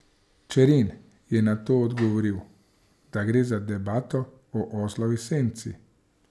Čerin je na to odgovoril, da gre za debato o oslovi senci.